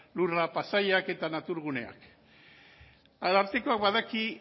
paisaiak eta natur guneak arartekoak badaki